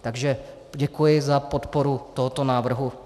Takže děkuji za podporu tohoto návrhu.